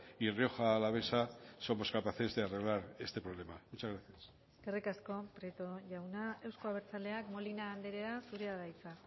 y rioja alavesa somos capaces de arreglar este problema muchas gracias eskerrik asko prieto jauna euzko abertzaleak molina andrea zurea da hitza